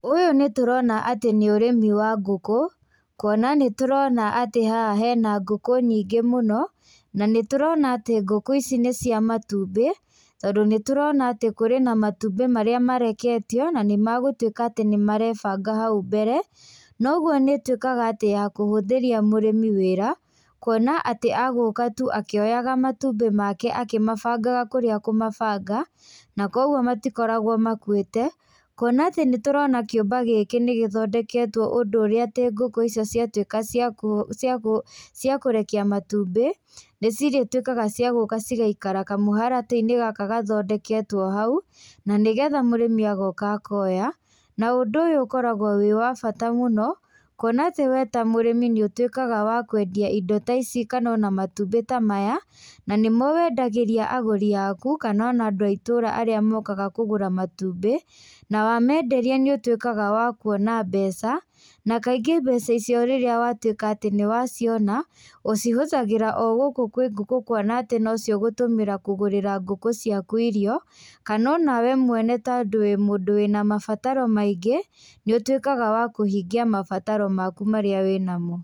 Ũyũ nĩtũrona atĩ nĩ ũrĩmi wa ngũkũ. Kuona nĩtũrona atĩ haha hena ngũkũ nyíngĩ mũno. Na nĩtũrona atĩ ngũkũ ici nĩcia matumbĩ tondũ nĩtũrona atĩ kũrĩ na matumbĩ marĩa mareketio na nĩmagũtuĩka atĩ nĩ marebanga hau mbere. Noguo nĩ ũtuĩkaga atĩ ya kũhuthĩria mũrĩmi wĩra kuona atĩ agũka tu akĩoyaga matumbĩ make akĩmabangaga kũrĩa akũmabanga. Na koguo matikoragwo makuĩte. Kuona atĩ nĩ tũrona kĩũmba gĩkĩ nĩgĩthondeketwo ũndũ urĩa atĩ ngũkũ icio ciatuĩka cia kũrekia matumbĩ, nĩcirĩtuĩkaga cia gũka cigaikara kamũharatĩ-inĩ gaka gathondeketwo hau na nĩ getha mũrĩmi agoka akoya. Na ũndũ ũyũ ũkoragwo wĩ wa bata mũno kuona atĩ we ta mũrĩmi nĩũtuĩkaga wa kwendia ino ta ici kana matumbĩ ta maya. Na nĩ mo wendagĩria agũri aku kana andũ a itũũra arĩa mokaga kũgũra matumbĩ. Na wamenderia nĩũtuĩkaga wa kuona mbeca na kaingĩ mbeca icio rĩrĩa watuĩka nĩwaciona, ũcihũthagĩra o gũkũ kwĩ ngũkũ kuona atĩ no cio ũgũtũmĩra kũgũrĩra ngũkũ ciaku irio, kana o nawe mwene tondũ wĩ mũndũ wĩna mabataro maingĩ, nĩ ũtuĩkaga wa kũhingia mabataro maku marĩa wĩnamo.